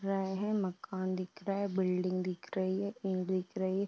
रहा है। मकान दिख रहा है। बिल्डिंग दिख रही है। दिख रही है।